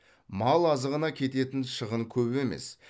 мал азығына кететін шығын көп емес